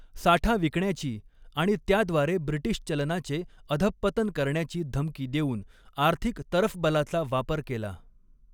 साठा विकण्याची आणि त्याद्वारे ब्रिटीश चलनाचे अधःपतन करण्याची धमकी देऊन आर्थिक तरफबलाचा वापर केला.